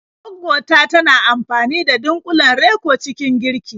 Gwaggo ta tana amfani da dunƙulen Reko cikin girki.